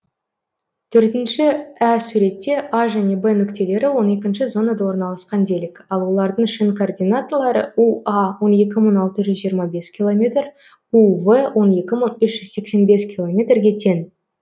иөртінші ә суретте а және в нүктелері он екінші зонада орналасқан делік ал олардың шын координаталары уа он екі мың алты жүз жиырма бес километр ув он екі мың үш жүз сексен бес километрге тең